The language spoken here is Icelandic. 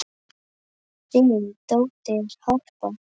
Þín dóttir, Harpa.